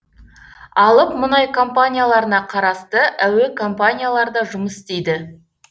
алып мұнай компанияларына қарасты әуе компаниялар да жұмыс істейді